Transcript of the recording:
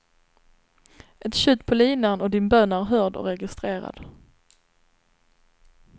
Ett tjut på linan och din bön är hörd och registrerad.